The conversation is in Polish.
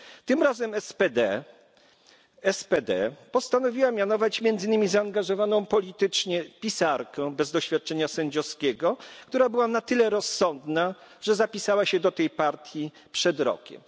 Tym razem SPD postanowiła mianować między innymi zaangażowaną politycznie pisarkę bez doświadczenia sędziowskiego, która była na tyle rozsądna, że zapisała się do tej partii przed rokiem.